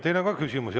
Teile on ka küsimusi.